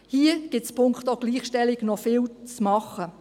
Hier gibt es also punkto Gleichstellung immer noch vieles zu tun.